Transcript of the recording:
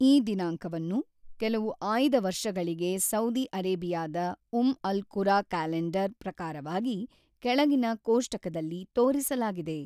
ಈ ದಿನಾಂಕವನ್ನು ಕೆಲವು ಆಯ್ದ ವರ್ಷಗಳಿಗೆ ಸೌದಿ ಅರೇಬಿಯಾದ ಉಮ್ ಅಲ್-ಕುರಾ ಕ್ಯಾಲೆಂಡರ್ ಪ್ರಕಾರವಾಗಿ ಕೆಳಗಿನ ಕೋಷ್ಟಕದಲ್ಲಿ ತೋರಿಸಲಾಗಿದೆ.